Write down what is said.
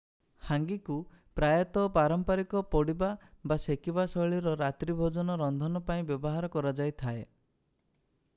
ହାଙ୍ଗିକୁ ପ୍ରାୟତଃ ପାରମ୍ପରିକ ପୋଡ଼ିବା ବା ସେକିବା ଶୈଳୀର ରାତ୍ରୀ ଭୋଜନ ରନ୍ଧନ ପାଇଁ ବ୍ୟବହାର କରା ଯାଇଥାଏ